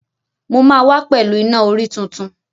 Mo máa wá pẹ̀lú Iná-orí tuntun.